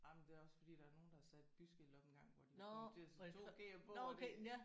Jamen det er også fordi der er nogen der har sat et byskilt op engang hvor de var kommet til at sætte 2 G'er på og det